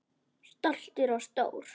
Stoltur og stór.